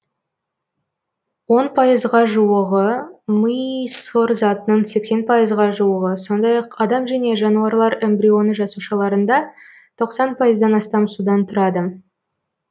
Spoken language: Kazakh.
он пайызға жуығы ми сұр затының сексен пайызға жуығы сондай ақ адам және жануарлар эмбрионы жасушаларында тоқсан пайыздан астам судан тұрады